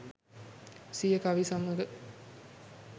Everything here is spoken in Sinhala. සිය කවි සමඟ